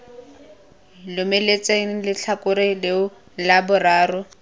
lomeletsang letlhakore leo la boraro